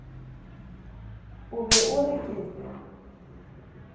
o be o re ke